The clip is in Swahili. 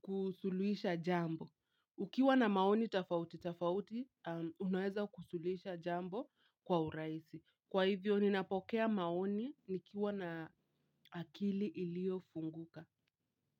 kusulisha jambo. Ukiwa na maoni tofauti tofauti, unaweza kusuluhisha jambo kwa urahisi. Kwa hivyo, ninapokea maoni nikiwa na akili iliofunguka.